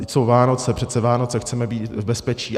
Vždyť jsou Vánoce, přece Vánoce chceme být v bezpečí.